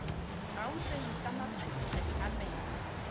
gauteng ka maphadiphadi a meno